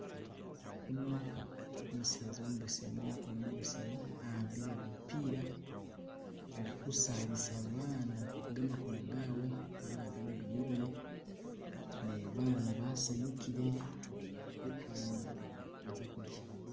Uno umuseza umubesemu makono mabesemu awambile lupila alikusabisa baana gamakono gabwe fana agana gamiliye ne baana basanyukile fana baza kudya